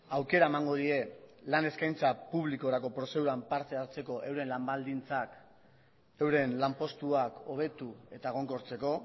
aukera emango die lan eskaintza publikorako prozeduran parte hartzeko euren lan baldintzak euren lanpostuak hobetu eta egonkortzeko